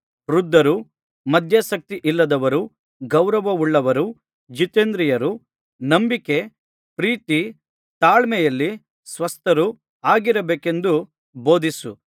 ವೃದ್ಧರು ಮದ್ಯಾಸಕ್ತಿಯಿಲ್ಲದವರೂ ಗೌರವವುಳ್ಳವರೂ ಜಿತೇಂದ್ರಿಯರೂ ನಂಬಿಕೆ ಪ್ರೀತಿ ತಾಳ್ಮೆಯಲ್ಲಿ ಸ್ವಸ್ಥರು ಆಗಿರಬೇಕೆಂದು ಬೋಧಿಸು